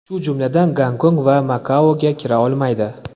shu jumladan Gonkong va Makaoga kira olmaydi.